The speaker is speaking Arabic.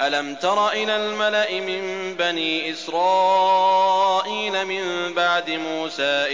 أَلَمْ تَرَ إِلَى الْمَلَإِ مِن بَنِي إِسْرَائِيلَ مِن بَعْدِ مُوسَىٰ